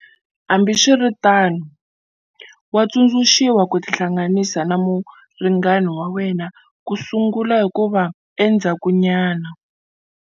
Hambiswiritano, wa tsundzuxiwa ku tihlanganisa na muringani wa wena kusungula hikuva endzhakunyana.